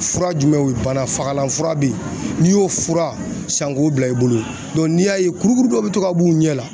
Fura jumɛnw ye o banafagalan fura bɛ ye n'i y'o fura san k'o bila i bolo n'i y'a ye kurukuru dɔ bɛ to ka b'u ɲɛ la